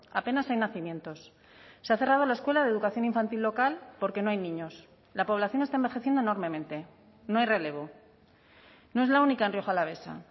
apenas hay nacimientos se ha cerrado la escuela de educación infantil local porque no hay niños la población está envejeciendo enormemente no hay relevo no es la única en rioja alavesa